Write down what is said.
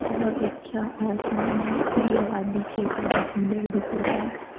बहोत अच्छा आसमान है खुली आबादी क्षेत्र में पिलर दिख रहा है।